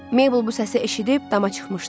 Mabel bu səsi eşidib dama çıxmışdı.